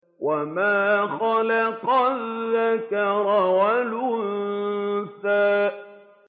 وَمَا خَلَقَ الذَّكَرَ وَالْأُنثَىٰ